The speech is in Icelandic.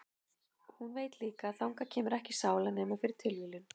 Og hún veit líka að þangað kemur ekki sála nema fyrir tilviljun.